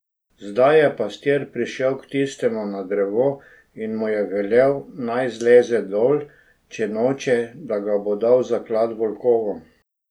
Zdaj je pastir prišel k tistemu na drevo, in mu je velel, naj zleze dol, če noče, da ga bo dal zaklati volkovom.